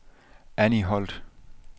Anny Holt